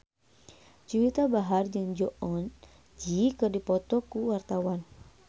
Juwita Bahar jeung Jong Eun Ji keur dipoto ku wartawan